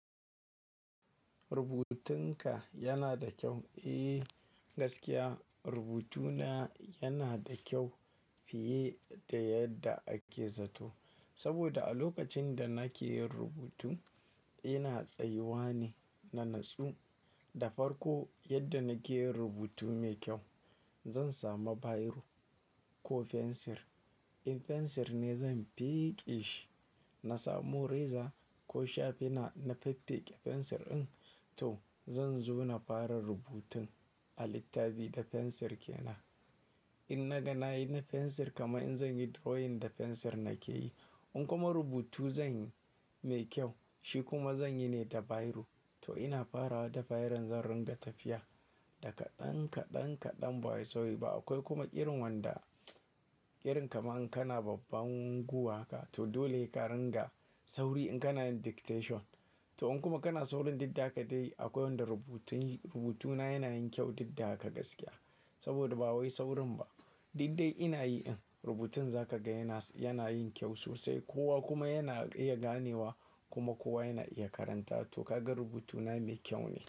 Rubutunka yana da kyau. Eh gaskiya rubutuna yana da kyau fiye da yadda ake zato. Saboda a lokacin da nake yin rubutu ina tsayuwa ne na natsu. Da farko yadda nake yin rubutu mai kyau zan samu biro ko fensir. In fensir ne zan feƙe shi. Na samu reza ko shafina na fiffike fensir in to zan zo na fara rubutun a littafi da fensir ke nan. In na ga na yi na fensir kama in zan yi drawing da fensir nake yi. In kuma rubutu zan yi mai kyau shi kuma zan yi ne da biro to ina fara da biron zan ringa tafiya. Da kaɗan, kaɗan, kaɗan ba wai sauri ba. Akwai kuma irin wanda irin kaman kana babban guwa haka to dole he ka ringa sauri in kana yin dictation. To in kuma kana saurin duk da ha ka dai akwai wanda rubutun rubutuna yana yin kyau didda haka gaskiya. Saboda ba wai saurin ba diddai ina yi in rubutun za ka ga yana yana yin kyau sosai. Kowa kuma yana iya ganewa kuma kowa yana iya karanta. To kaga rubutuna mai kyau ne.